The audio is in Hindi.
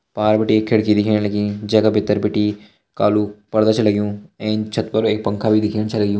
पार बिटि खिड़की दिखेण लगीं जैका भीतर बिटी कालू पर्दा छ लग्युं एंच छत पर एक पंखा भी दिखेण छ लग्युं।